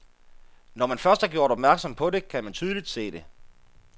Når man først er gjort opmærksom på det, kan man tydelig se det.